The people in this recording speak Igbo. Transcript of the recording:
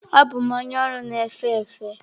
Abụ m onye ọrụ na-efe efe.